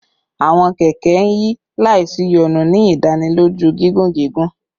Awọn kẹkẹ n yi laisiyonu, ni idaniloju gigun gigun